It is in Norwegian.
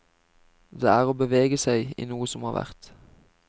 Det er å bevege seg i noe som har vært.